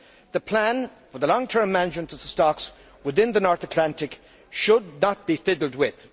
The plan for the long term management of the stocks within the North Atlantic should not be fiddled with.